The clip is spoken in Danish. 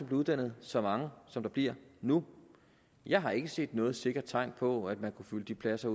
blev uddannet så mange som der bliver nu jeg har ikke set noget sikkert tegn på at man kunne fylde de pladser